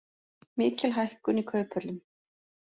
Mikil hækkun í kauphöllum